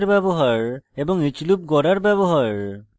for লুপের ব্যবহার এবং each loop গড়ার ব্যবহার